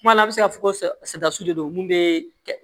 Kuma dɔ la a bɛ se ka fɔ ko de don mun bɛ kɛ